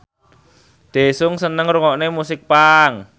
Daesung seneng ngrungokne musik punk